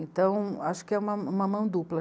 Então, acho que é uma, uma mão dupla.